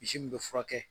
Misi min bɛ furakɛ